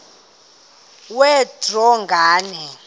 kwe draw nganye